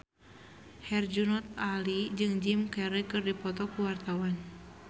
Herjunot Ali jeung Jim Carey keur dipoto ku wartawan